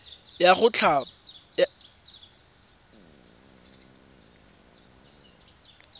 ya go thapa le go